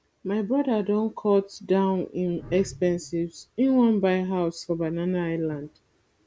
my broda don cut down im expenses im wan buy house for banana island